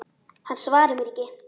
Hann svarar mér ekki.